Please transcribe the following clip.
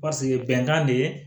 Paseke bɛnkan de ye